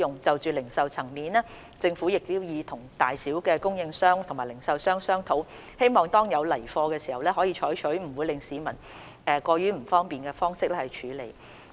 就零售層面而言，政府已與各大小供應商和零售商商討，希望當有來貨時，可以採取不會令市民過於不便的方式處理。